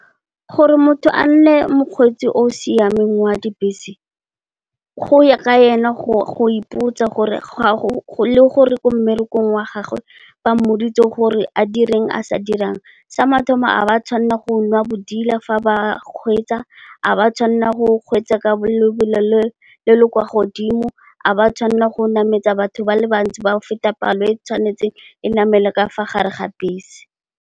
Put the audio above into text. Gore motho a nne mokgweetsi o o siameng wa dibese, go ya ka ena go ipotsa le gore ko mmerekong wa gagwe ba mmoditse gore a direng a sa dirang. Sa mathomo ga ba tshwanela go nwa bodila fa ba kgweetsa, ga ba tshwanela go kgweetsa ka lebelo le le kwa godimo, ga ba tshwanela go nametsa batho ba le bantsi ba go feta palo e tshwanetseng e namele ka fa gare ga bese.